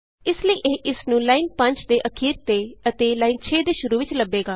ਇਸ ਲਈ ਇਹ ਇਸਨੂੰ ਲਾਈਨ 5 ਦੇ ਅਖੀਰ ਤੇ ਅਤੇ ਲਾਈਨ 6 ਦੇ ਸ਼ੁਰੂ ਵਿਚ ਲੱਭੇਗਾ